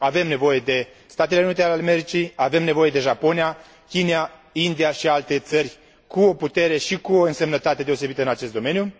avem nevoie de Statele Unite ale Americii, avem nevoie de Japonia, China, India și alte țări cu o putere și cu o însemnătate deosebită în acest domeniu